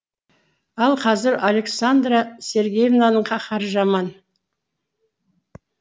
ал қазір александра сергеевнаның қаһары жаман